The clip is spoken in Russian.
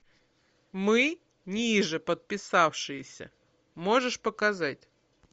мы нижеподписавшиеся можешь показать